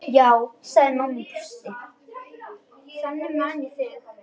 Já, sagði mamma og brosti.